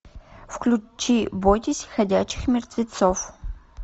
включи бойтесь ходячих мертвецов